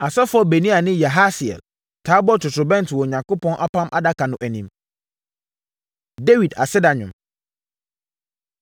Asɔfoɔ Benaia ne Yahasiel taa bɔ ntotorobɛnto wɔ Onyankopɔn Apam Adaka no anim. Dawid Aseda Dwom